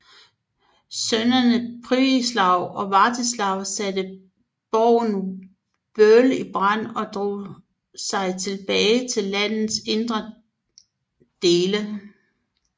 Sønnerne Pribislav og Vartislav satte borgen Werle i brand og drog sig tilbage til landets indre dele